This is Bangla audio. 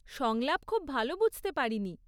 সংলাপ খুব ভালো বুঝতে পারিনি।